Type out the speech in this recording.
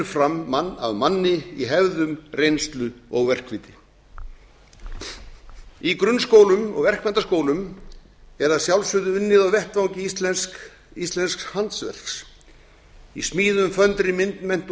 fram mann af manni í hefðum reynslu og verkviti í grunnskólum og verkmenntaskólum er að sjálfsögðu unnið á vettvangi íslensks handverks í smíðum föndri myndmennt og